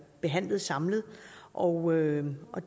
behandlet samlet og og